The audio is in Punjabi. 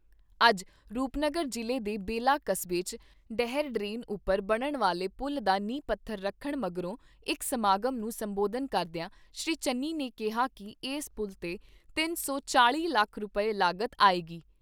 ਅੱਜ ਰੂਪਨਗਰ ਜ਼ਿਲ੍ਹੇ ਦੇ ਬੇਲਾ ਕਸਬੇ 'ਚ ਡਹਿਰ ਡਰੇਨ ਉਪਰ ਬਣਨ ਵਾਲੇ ਪੁਲ ਦਾ ਨੀਂਹ ਪੱਥਰ ਰੱਖਣ ਮਗਰੋਂ ਇਕ ਸਮਾਗਮ ਨੂੰ ਸੰਬੋਧਨ ਕਰਦਿਆਂ ਸ੍ਰੀ ਚੰਨੀ ਨੇ ਕਿਹਾ ਕਿ ਏਸ ਪੁਲ 'ਤੇ ਤਿੰਨ ਸੌ ਚਾਲ਼ੀ ਲੱਖ ਰੁਪਏ ਲਾਗਤ ਆਏਗੀ।